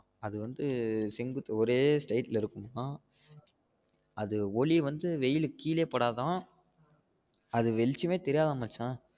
அது வந்து செங்குத்து ஒரே straight ல இருக்குமாம் அது ஒளி வந்து வெயில் கீழயே படாதாம் அது வெளிச்சம்மே தெரியாதாம் மச்சான்